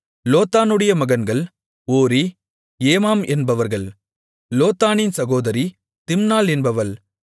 லோத்தானுடைய மகன்கள் ஓரி ஏமாம் என்பவர்கள் லோத்தானின் சகோதரி திம்னாள் என்பவள்